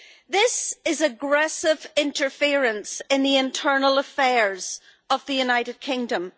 This is aggressive interference in the internal affairs of the United Kingdom.